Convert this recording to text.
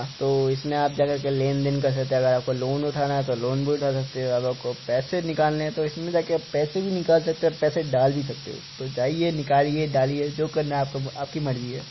तो इसमें आप जाकर के लेनदेन कर सकते है अगर आपको लोन उठाना है तो लोन भी उठा सकते है अगर आपको पैसे निकालना है तो इसमें जाके पैसे भी निकाल सकते हो और पैसे डाल भी सकते हो तो जाईये निकालिये डालिये जो करना है आपको करिये आपकी मर्जी है।